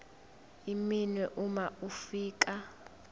iminwe uma ufika